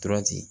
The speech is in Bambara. Torati